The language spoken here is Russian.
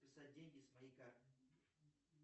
списать деньги с моей карты